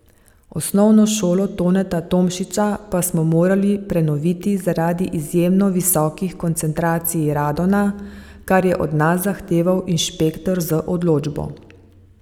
Osnovno šolo Toneta Tomšiča pa smo morali prenoviti zaradi izjemno visokih koncentracij radona, kar je od nas zahteval inšpektor z odločbo.